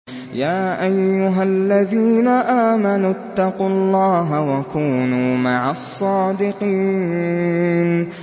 يَا أَيُّهَا الَّذِينَ آمَنُوا اتَّقُوا اللَّهَ وَكُونُوا مَعَ الصَّادِقِينَ